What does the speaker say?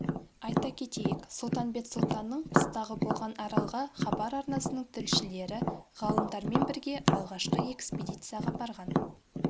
айта кетейік сұлтанбет сұлтанның қыстағы болған аралға хабар арнасының тілшілері ғалымдармен бірге алғашқы экспедицияға барған